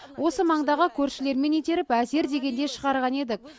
осы маңдағы көршілермен итеріп әзер дегенде шығарған едік